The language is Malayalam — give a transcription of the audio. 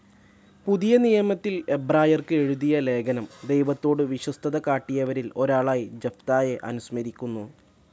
പുതിയ നിയമത്തിൽ എബ്രായർക്ക് എഴുതിയ ലേഖനം ദൈവത്തോടു വിശ്വസ്തതകാട്ടിയവരിൽ ഒരാളായി ജഫ്‌തായെ അനുസ്മരിക്കുന്നു.